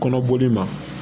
Kɔnɔboli ma